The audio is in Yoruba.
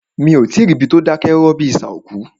Mí o tí ì rí ibi tí o dákẹ́ rọ́rọ́ bíi isà òkú.